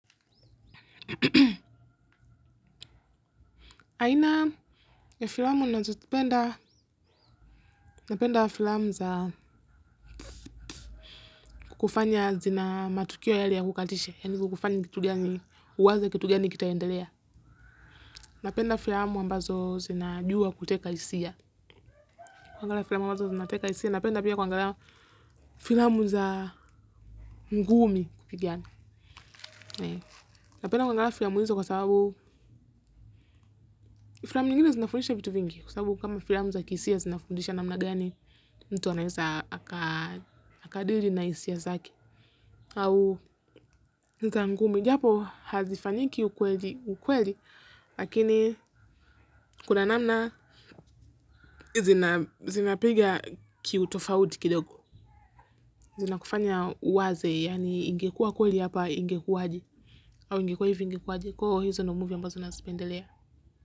Aina ya filamu nazopenda napenda filamu za kukufanya zina matukio yale ya kukatisha. Yani kukufanya kitu gani uwaze kitu gani kitaendelea. Napenda filamu ambazo zinajua kuteka hisia. Kuangalia filamu ambazo zinateka hisia. Napenda pia kuangalia filamu za ngumi kupigana. Napenda kuangalia filamu hizo kwa sababu filamu zingine zinafundisha vitu vingi. Kwa sababu kama filamu za kihisia zinafundisha namna gani, mtu anaweza akadiri na hisia zake. Au niza ngumi. Japo hazifanyiki ukweli ukweli. Lakini kuna namna zinapiga kiutofauti kidogo. Zinakufanya uwaze. Yaani ingekua kweli hapa ingekuwaje. Au ingekuwa hivi ingekuwaje. Kwa hiyo hizo ndio movie ambazo nazipendelea.